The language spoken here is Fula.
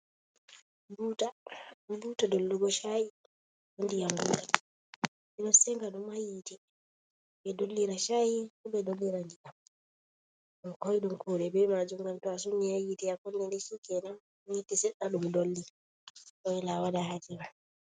Buuta dollugo chayi bee ndiyam ɓe ɗo sega ɗum ha dow yiite ɓe dollira chayi bo ɓe dollira ndiyam, ɗum koiɗun kuuɗe bee maajum ngan to a sengi ha yiite a kunni ni shi kenan yiite seɗɗa ɗum dolli a waila a wada haaje ma.